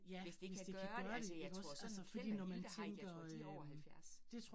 Hvis det kan gøre det, altså jeg tror Keld og Hilda Heick, jeg tror de over 70